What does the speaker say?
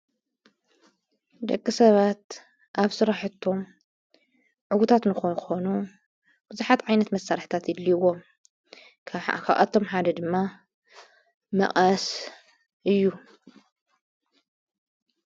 ደቂ ሰባት ኣብ ስራሕቶም ዕውታት ንኽኾኑ ብዙኃት ዓይነት መሳርሕታት የድልይዎም ካብኣቶም ሓደ ድማ መቐስ እዩ።